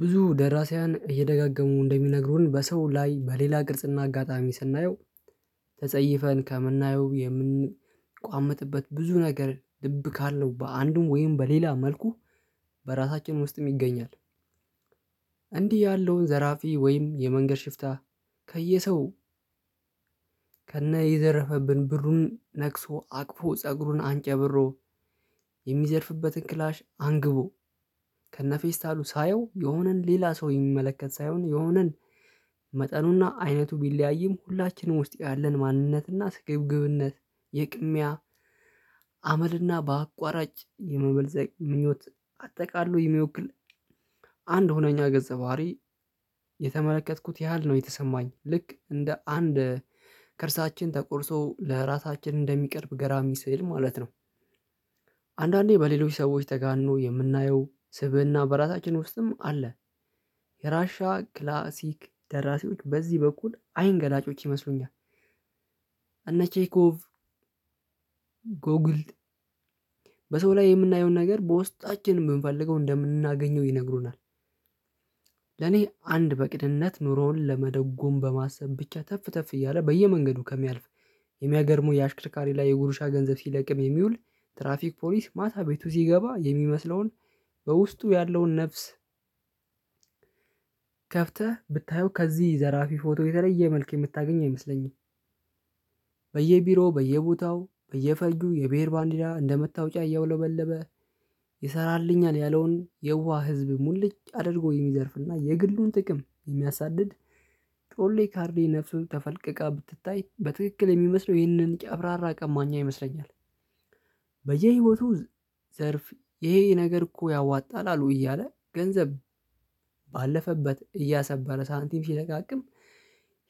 ብዙ ደራሲያን እየደጋገሙ እንደሚነግሩን በሰው ላይ በሌላ ቅርጽ እና አጋጣሚ ስናየው ተጸይፈን ከምናየው የምንቋመጥበት ብዙ ነገር ልብ ካልነው በአንዱም ወይም በሌላ መልኩ በራሳችን ውስጥም ይገኛል። እንዲህ ያለውን ዘራፊ ወይም የመንገድ ሽፍታ ከየሰው ከነ የዘረፈብን ብሩን ነቅሶ አቅፎ ፀጉሩን አንጨብርሮ የሚዘርፍበትን ክላሽ አንግቦ ከነፌስታሉ ሳየው የሆነን ሌላ ሰው የሚመለከት ሳይሆን የሆነን መጠኑ እና አይነቱ ቢለያይም ሁላችንም ውስጥ ያለን ማንነት እና ስግብግብነት የቅሚያ አመልና በአቋራጭ የመበልፀግ ምኞት አጠቃሎ የሚወክል አንድ ሁነኛ ገፀ ባህሪ የተመለከትኩት ያህል ነው። የተሰማኝ ልክ እንደ አንድ ከእርሳችን ተቆርሶ ለራሳችን እንደሚቀርብ ገራሚ ስዕል ማለት ነው። አንዳንዴ በሌሎች ሰዎች ተጋኖ የምናየው ስብእና በራሳችን ውስጥም አለ። የራሺያ ክላሲክ ደራሲዎች በዚህ በኩል አይን ገላጮች ይመስሉኛል። እነ ቼኮቭ ጎግልት በሰው ላይ የምናየውን ነገር በውስጣችን የምንፈልገው እንደምናገኘው ይነግሩናል። ለኔ አንድ በቅንነት ኑሮውን ለመደጎም በማሰብ ብቻ ተፍ ተፍ እያለ በየመንገዱ ከሚያልፍ የሚያገርመው የአሽክርካሪ ላይ የጉርሻ ገንዘብ ሲለቅም የሚውል ትራፊክ ፖሊስ ማታ ቤቱ ሲገባ የሚመስለውን በውስጡ ያለውን ነፍስ ከፍተህ ብታየው ከዚህ ዘራፊ ፎቶ የተለየ መልክ የምታገኝ አይመስለኝም። በየቢሮ በየቦታው በየፈርጁ የብሄር ባንዲራ እንደመታወቂያ እያውለበለበ ይሰራልኛል ያለውን የዋህ ህዝብ ሙልጭ አድርጎ የሚዘርፍ እና የግሉን ጥቅም የሚያሳድድ ጮሌ ካርዴ ነፍሱን ተፈልቅቃ ብትታይ በትክክል የሚመስለው ይህንን ጨብራራ ቀማኛ ይመስለኛል። በየህይወቱ ዘርፍ ይሄ ነገር እኮ ያዋጣል አሉ እያለ ገንዘብ ባለፈበት እያሰበረ ሳንቲም ሲለቃቅም